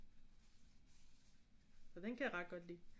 Den kan jeg ret godt lide